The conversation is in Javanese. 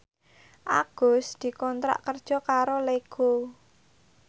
Agus dikontrak kerja karo Lego